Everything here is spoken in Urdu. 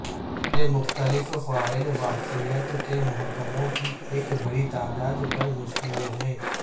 یہ مختلف فعال واقفیت کے محکموں کی ایک بڑی تعداد پر مشتمل ہے